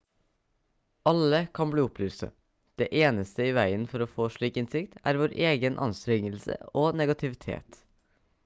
alle kan bli opplyste det eneste i veien for å få slik innsikt er vår egen anstrengelse og negativitet